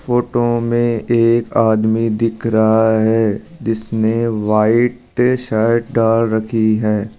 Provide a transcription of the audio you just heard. Photo में एक आदमी दिख रहा है जिसने व्हाइट शर्ट डाल रखी है।